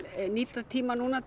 nýta tímann núna